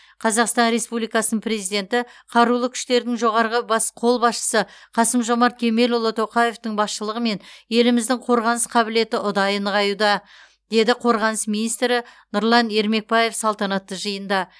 қазақстан республикасының президенті қарулы күштердің жоғарғы бас қолбасшысы қасым жомарт кемелұлы тоқаевтың басшылығымен еліміздің қорғаныс қабілеті ұдайы нығаюда деді қорғаныс министрі нұрлан ермекбаев салтанатты жиында